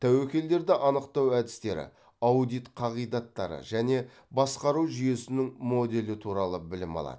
тәуекелдерді анықтау әдістері аудит қағидаттары және басқару жүйесінің моделі туралы білім алады